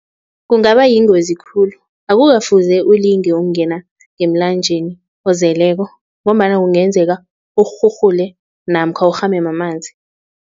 Kungaba yingozi khulu, akukafuze ulinge ukungena ngemlanjeni ozeleko ngombana kungenzeka urhurhule namkha urhame mamanzi.